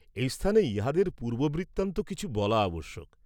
এই স্থানে ইহাঁদের পূর্ব্ববৃত্তান্ত কিছু বলা আবশ্যক।